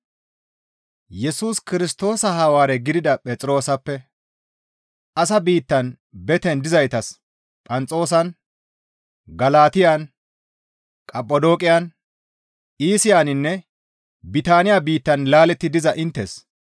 Yesus Kirstoosa Hawaare gidida Phexroosappe, asa biittan beten dizaytas Phanxoosan, Galatiyan, Qophodooqiyan, Iisiyaninne Bitiniya biittan laaletti diza inttes,